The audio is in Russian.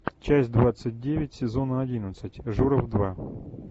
часть двадцать девять сезона одиннадцать журов два